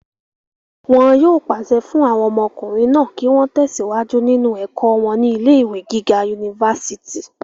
wọn yóò pàṣẹ fún àwọn ọmọkùnrin náà kí wọ́n tẹ̀síwájú nínú ẹ̀kọ́ wọn ní ilé ìwé gíga unifásitì